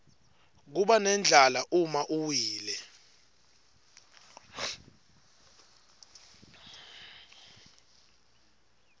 kubanendlala uma uwile